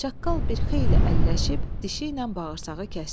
Çaqqal bir xeyli əlləşib dişiylə bağırsağı kəsdi.